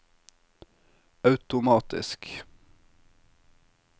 automatisk